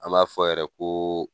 An b'a fɔ yɛrɛ ko